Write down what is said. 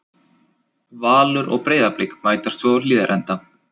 Valur og Breiðablik mætast svo á Hlíðarenda.